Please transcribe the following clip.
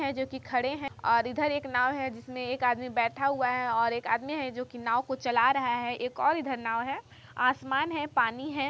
--है जो कि खड़े है और इधर एक नाव है एक आदमी बैठा हुआ है एक आदमी है जो कि नाव को इधर एक और नाव है आसमान है पानी है।